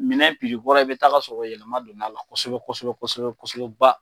Minɛn kɔrɔ i bɛ taa ka sɔrɔ yɛlɛma don'a la kosɛbɛ kosɛbɛ kosɛbɛ kosɛbɛ ba.